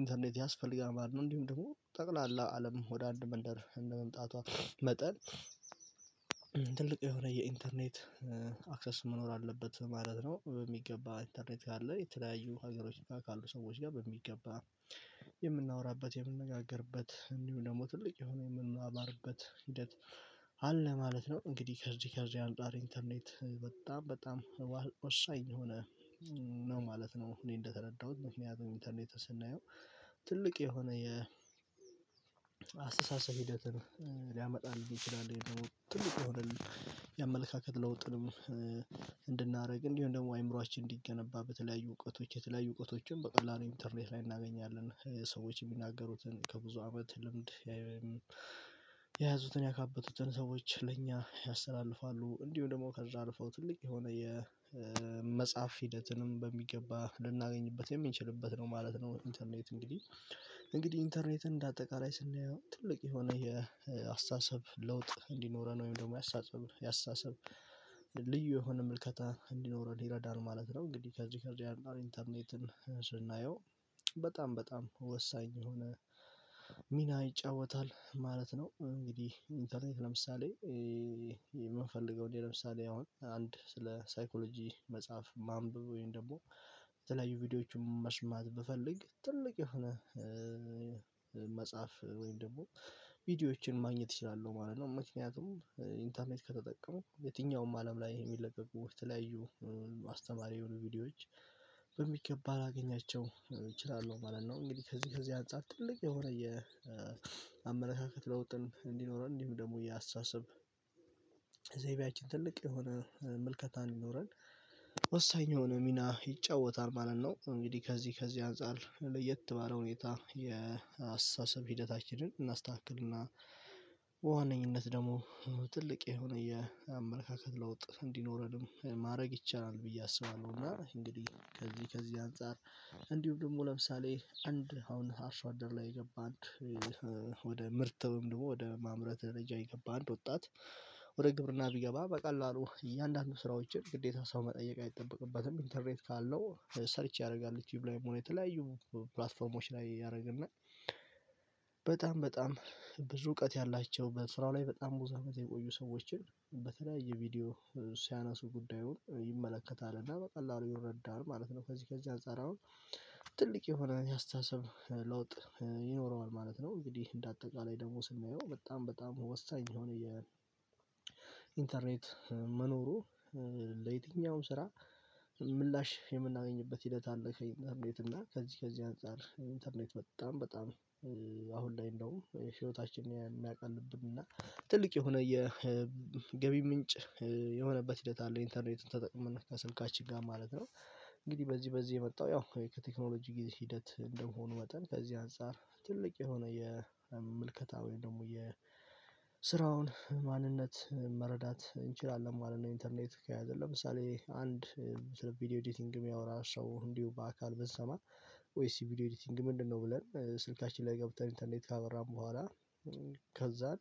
ኢንተርኔት ያስፈልጋል ማለት ነው። እንዲሁም ደግሞ ጠቅላላ አለም ወደ አንድ መንደር እንደመምጣቷ መጠን ትልቅ የሆነ የኢንተርኔት አክሰስ መኖር አለበት ማለት ነው። በሚገባ ኢንተርኔት ካለ የተለያዩ ሀገሮች ጋር ካሉ ሰዎች ጋር በሚገባ የምናወራበት የምንነጋገርበት እንዲሁም ደግሞ ትልቅ የሆነ የምንማማርበት ሂደት አለ ማለት ነው። እንግዲህ ከዚህ ከዚህ አንፃር ኢንተርኔት በጣም በጣም ወሳኝ የሆነ ነው ማለት ነው እኔ እንደተረዳሁት። ምክንያቱም ኢንተርኔት ስናየው ትልቅ የሆነ የአስተሳሰብ ሂደትን ሊያመጣልን ይችላል ትልቅ የሆነ የአመለካከት ለውጥንም እንድናደርግ እንዲሁም ደግሞ አይምሮአችን እንዲገነባ በተለያዩ እውቀቶች የተለያዩ እውቀቶችን በቀላሉ ኢንተርኔት ላይ እናገኛለን። ሰዎች የሚናገሩትን ከብዙ አመት ልምድ የያዙትን ያካበቱትን ሰዎች ለእኛ ያስተላልፋሉ እንዲሁም ደግሞ ከዛ አልፈው ትልቅ የሆነ የመጽሐፍ ሂደትንም በሚገባ ልናገኝበት የምንችልበት ነው ማለት ነው። ኢንተርኔት እንግዲህ እንግዲህ ኢንተርኔትን እንደ አጠቃላይ ስናየው ትልቅ የሆነ የአስተሳሰብ ለውጥ እንዲኖረን ወይም ደግሞ ያስተሳሰብ ያስተሳሰብ ልዩ የሆነ ምልከታ እንዲኖረን ይረዳል ማለት ነው። እንግዲህ ከዚህ ከዚህ አንዳር ኢንተርኔትን ስናየው በጣም በጣም ወሳኝ የሆነ ሚና ይጫወታል ማለት ነው። እንግዲህ ኢንተርኔት ለምሳሌ የምንፈልገው እኔ ለምሳሌ አሁን አንድ ስለ ሳይኮሎጂ መጽሐፍ ማንበብ ወይም ደግሞ የተለያዩ ቪዲዮዎችን መስማት ብፈልግ ትልቅ የሆነ መጽሐፍ ወይም ደግሞ ቪዲዮዎችን ማግኘት እችላለሁ ማለት ነው። ምክንያቱም ኢንተርኔት ከተጠቀሙ የትኛውም አለም ላይ ይሄ የሚለቀቁ የተለያዩ አስተማሪ የሆኑ ቪዲዮዎች በሚገባ ላገኛቸው እችላለሁ ማለት ነው። እንግዲህ ከዚህ ከዚህ አንፃር ትልቅ የሆነ የአመለካከት ለውጥን እንዲኖረን እንዲሁ ደግሞ የአስታሳስብ ዘይቤያችን ትልቅ የሆነ ምልከታን እንዲኖረን ወሳኝ የሆነ ሚና ይጫወታል ማለት ነው። እንግዲህ ከዚህ ከዚህ አንፃር ለየት ባለ ሁኔታ የአስተሳሰብ ሂደታችንን እናስተካክልና በዋነኝነት ደግሞ ትልቅ የሆነ የአመለካከት ለውጥ እንዲኖረንም ማድረግ ይቻላል ብዬ አስባለሁ፤ እና እንግዲህ ከዚህ ከዚህ አንፃር እንዲሁም ደግሞ ለምሳሌ አንድ አሁን አርሶ አደር ላይ የገባ አንድ ወደ ምርት ወይም ደግሞ ወደ ማምረት ደረጃ የገባ አንድ ወጣት ወደ ግብርና ቢገባ በቀላሉ እያንዳንዱ ስራዎችን ግዴታ ሰው መጠየቅ አይጠበቅባትም። ኢንተርኔት ካለው ሰርች ያደርጋል ዩትዩብ ላይም ሆን የተለያዩ ፕላትፎርሞች ላይ ያደርግና በጣም በጣም ብዙ እውቀት ያላቸው በስራው ላይ በጣም ብዙ አመት የቆዩ ሰዎችን በተለያየ ቪዲዮ ሲያነሱ ጉዳዩን ይመለከታል እና በቀላሉ ይረዳል ማለት ነው። ከዚህ ከዚህ አንፃር አሁን ትልቅ የሆነ የአስታሰብ ለውጥ ይኖረዋል ማለት ነው። እንግዲህ እንደ አጠቃላይ ደግሞ ስናየው በጣም በጣም ወሳኝ የሆነ የ የኢንተርኔት መኖሩ ለየትኛውም ስራ ምላሽ የምናገኝበት ሂደት አለ ከኢንተርኔት እና ከዚህ ከዚህ አንፃር ኢንተርኔት በጣም በጣም አሁን ላይ እንደውም ህይወታችንን የሚያቀልብን እና ትልቅ የሆነ የገቢ ምንጭ የሆነበት ሂደት አለ ኢንተርኔትን ተጠቅመን ከስልካችን ጋር ማለት ነው። እንግዲህ በዚህ በዚህ የመጣው ያው ከቴክኖሎጂ ጊዜ ሂደት እንደመሆኑ መጠን ከዚህ አንፃር ትልቅ የሆነ የምልከታ ወይም ደግሞ የስራውን ማንነት መረዳት እንችላለን ማለት ነው ኢንተርኔት ከያዘን። ለምሳሌ አንድ ስለ ቪዲዮ ኤዲቲንግ የሚያወራ ሰው እንዲሁ በአካል ብንሰማ ቆይ እስቲ ቪዲዮ ኤዲቲንግ ምንድነው? ብለን ስልካችን ላይ ገብተን ኢንተርኔት ካበራን በኋላ ከዛን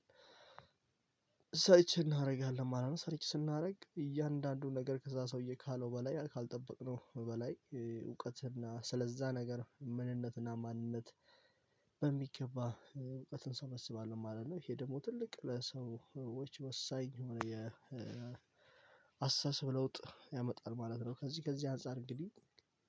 ሰርች እናደርጋለን ማለት ነው። ሰርቼ ስናደርግ እያንዳንዱን ነገር ከዛ ሰውዬ ካለው በላይ ካልጠበቅነው በላይ እውቀትና ስለዛ ነገር ምንነትና ማንነት በሚገባ እውቀትን ሰበስባለሁ ማለት ነው። ይሄ ደግሞ ትልቅ ለሰዎች ወሳኝ የሆነ የአስተሳሰብ ለውጥ ያመጣል ማለት ነው። ከዚህ ከዚህ አንፃር እንግዲህ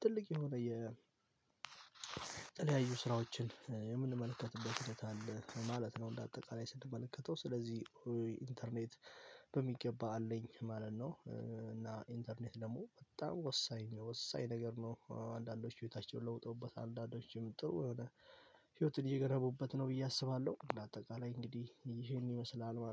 ትልቅ የሆነ የተለያዩ ስራዎችን የምንመለከትበት ሂደት አለ ማለት ነው እንደ አጠቃላይ ስንመለከተው። ስለዚህ ኢንተርኔት በሚገባ አለኝ ማለት ነው፤ እና ኢንተርኔት ደግሞ በጣም ወሳኝ ወሳኝ ነገር ነው አንዳንዶቹ ህይወታቸውን ለውጠውበታል አንዳንዶቹም ጥሩ የሆነ ህይሀትን እየገነቡበት ነው ብዬ አስባለሁ። እንደ አጠቃላይ እንግዲህ ይሄን ይመስላል ማለት ነው።